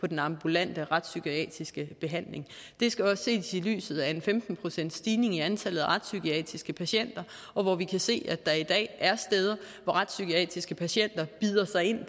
den ambulante retspsykiatriske behandling det skal også ses i lyset af en femten procentsstigning i antallet af retspsykiatriske patienter og at vi kan se at der i dag er steder hvor retspsykiatriske patienter bider sig ind